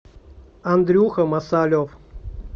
андрюха масалев